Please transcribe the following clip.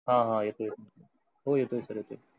हा हा येतोय की हो येतो येतो. sir